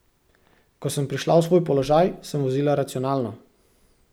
Ko sem prišla v svoj položaj, sem vozila racionalno.